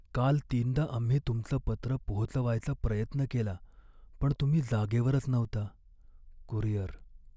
काल तीनदा आम्ही तुमचं पत्र पोहोचवायचा प्रयत्न केला पण तुम्ही जागेवरच नव्हता. कुरिअर